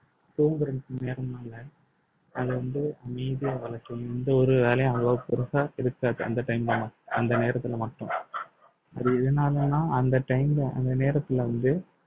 தூங்குறதுக்கு நேரம் அது வந்து எந்த ஒரு வேலையும் அவ்வளவு பெருசா இருக்காது அந்த time ல மட்~ அந்த நேரத்துல மட்டும் அது எதுனாலன்னா அந்த time ல அந்த நேரத்துல வந்து